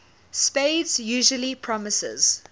spades usually promises